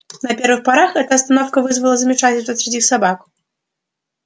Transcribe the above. на первых порах эта остановка вызывала замешательство среди собак